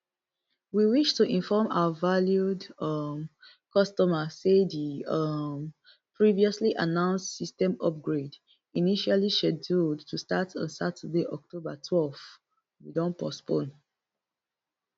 we wish to inform our valued um customer say di um previously announced system upgrade initially scheduled to start on saturday october twelve we don postpone